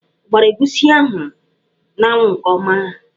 Ọ gbara egwusi ahụ n'anwụ nke ọma?